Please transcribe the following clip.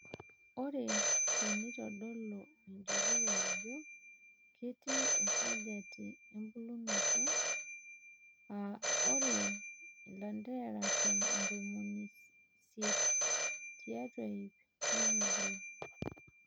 Ore teneitodolu enjurore ajo keiti esajata ebulunoto ( aa ore ilanterera ntomoni isiet tiatwa iip nemebulu).